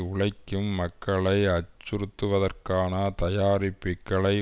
உழைக்கும் மக்களை அச்சுறுத்துவதற்கான தயாரிப்பிக்களை